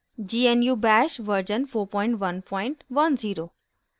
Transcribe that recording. * gnu bash version 4110